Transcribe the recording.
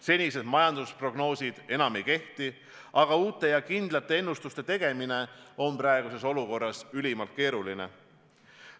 Senised majandusprognoosid enam ei kehti, aga uute ja kindlate ennustuste tegemine on praeguses olukorras ülimalt keeruline.